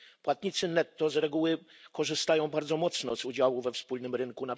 Płatnicy netto z reguły korzystają bardzo mocno z udziału we wspólnym rynku.